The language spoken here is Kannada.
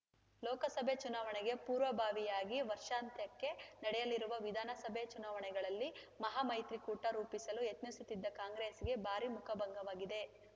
ಲೋಕಸಭೆ ಚುನಾವಣೆಗೆ ಪೂರ್ವಭಾವಿಯಾಗಿ ವರ್ಷಾಂತ್ಯಕ್ಕೆ ನಡೆಯಲಿರುವ ವಿಧಾನಸಭೆ ಚುನಾವಣೆಗಳಲ್ಲಿ ಮಹಾಮೈತ್ರಿಕೂಟ ರೂಪಿಸಲು ಯತ್ನಿಸುತ್ತಿದ್ದ ಕಾಂಗ್ರೆಸ್ಸಿಗೆ ಭಾರಿ ಮುಖಭಂಗವಾಗಿದೆ